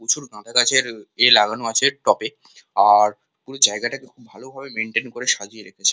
প্রচুর গাদা গাছের এ লাগানো আছে টবে এই জায়গাটাকে ভালো ভাবে মেইনটেইন করে রেখেছে।